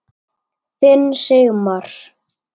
Þinn Sigmar.